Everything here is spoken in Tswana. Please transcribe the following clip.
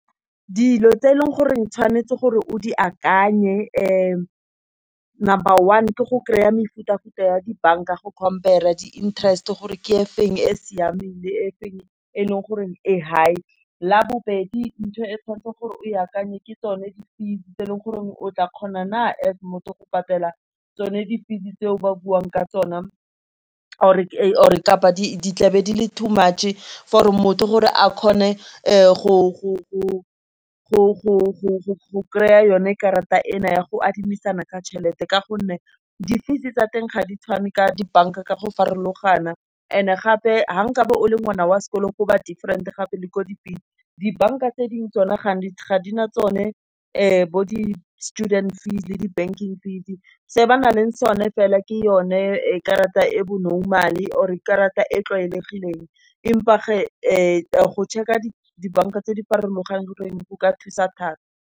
Dilo tse e leng gore tshwanetse gore o di akanye number one, ke go kry-a mefuta futa ya di-banka go compare-a di-interest, gore ke efeng e siameng, le efeng e leng goreng e high. La bobedi, ntho e tshwanetseng gore o akanye ke tsone di-fees tse e leng gore o tla kgona na as motho go patela tsone di-fees-e tse o ba buang ka tsona, or kapa di tlabe di le two much for motho gore a kgone go kry-a yone karata e na ya go adimisana ka tšhelete. Ka gonne di-fees tsa teng ga di tshwane ka dibanka ka go farologana and gape fa o kabe o le ngwana wa sekolo go ba different-e gape le ko di-fees. Dibanka tse dingwe tsone ga di na tsone, bo di-student fees le di-banking fees-e, se ba nang le sone fela ke yone karata e bo normal-e, or e karata e tlwaelegileng, empa geng go check-a dibanka tse di farologaneng go ka thusa thata.